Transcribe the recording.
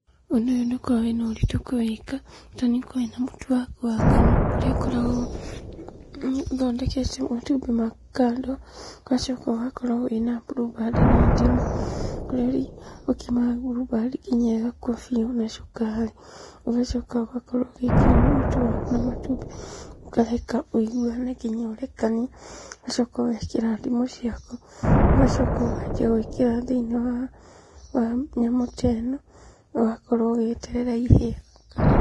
Ũndũ ũyũ ndũkoragwo wĩna ũritũ kũwĩka, bata nĩũkorwo wĩna mũtu waku wa ngano, kũrĩa ũkoragwo ũthondekete matumbĩ maku kando, ũgacoka ũgakorwo wĩna mburumbandi na ndimũ, kũrĩa ũkimaga mburumbandi nginya ĩgakua biũ, na cukari. Ũgacoka ũgakorwo ũgĩkima mũtu waku na matumbĩ, ũkareka wũiguane nginya ũrekanie, ũgacoka ũgekĩra ndimũ ciaku, ũgacoka ũkarĩkia gwĩkĩra thĩinĩ wa nyamũ ta ĩno, ũgakorwo ũgĩgĩeterera ihĩe.